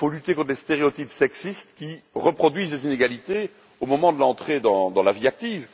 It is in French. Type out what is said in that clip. Il faut lutter contre les stéréotypes sexistes, qui reproduisent les inégalités au moment de l'entrée dans la vie active.